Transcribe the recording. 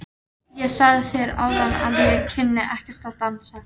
Ég sagði þér áðan að ég kynni ekkert að dansa.